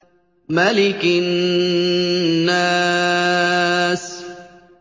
مَلِكِ النَّاسِ